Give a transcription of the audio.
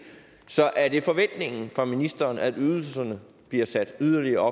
så er det forventningen fra ministerens side at ydelserne bliver sat yderligere